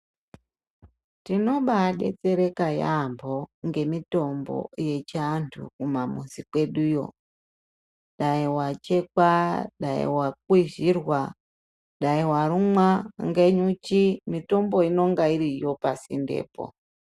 Tinobabetsereka yaamho ngemitombo yechiantu kumamuzi kweduyo. Dai wachekwa, dai wakwizhirwa, dai warumwa ngenyuchi. Mitombo inenge iripo pasinde po.